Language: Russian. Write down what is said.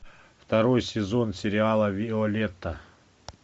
второй сезон сериала виолетта